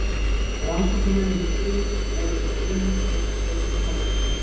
Rannsóknarmennirnir þrír voru þeir einu sem ég gat leitað hjálpar hjá.